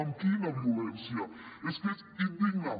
amb quina violència és que és indigne